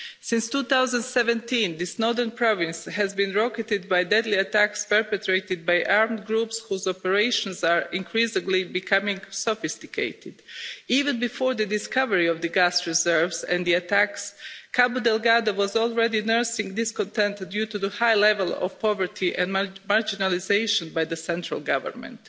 Since 2017, this northern province has been rocketed by deadly attacks perpetrated by armed groups whose operations are becoming increasingly sophisticated. Even before the discovery of the gas reserves and the attacks, Cabo Delgado was already nursing discontentment due to the high level of poverty and marginalisation by the central government.